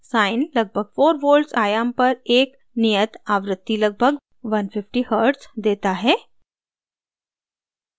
sine लगभग 4 volts आयाम पर एक नियत आवृत्ति लगभग 150 hz देता है